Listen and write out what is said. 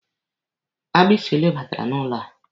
Agbisi ole batara n'ụlọ a?